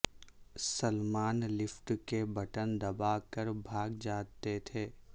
Salman lift کے button دبا کر بھاگ جاتے تھے